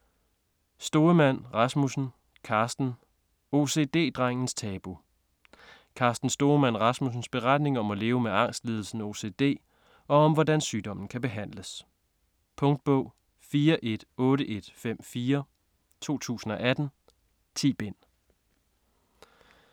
Stoemann Rasmussen, Carsten: OCD-drengens tabu Carsten Stoemann Rasmussens beretning om at leve med angstlidelsen OCD og om hvordan sygdommen kan behandles. Punktbog 418154 2018. 10 bind.